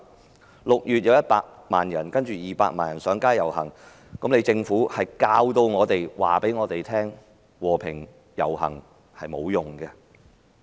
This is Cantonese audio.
在6月，曾有分別100萬人及200萬人上街遊行，但政府卻教導我們和平遊行是沒有用的。